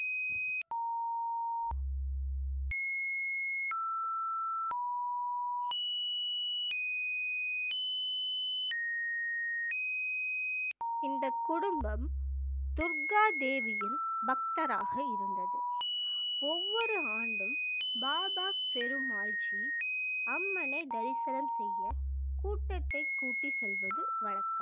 இந்த குடும்பம் துர்கா தேவியின் பக்தராக இருந்தது ஒவ்வொரு ஆண்டும் பாபா பெருமால் ஜி அம்மனை தரிசனம் செய்ய கூட்டத்தைக் கூட்டி செல்வது வழக்கம்